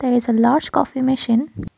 its a large coffee machine.